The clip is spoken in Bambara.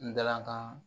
N dalakan